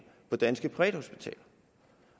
på danske privathospitaler